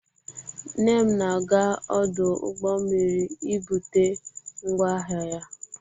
Nne m na-aga ọdụ ụgbọ mmiri ibute ngwa ahịa ya.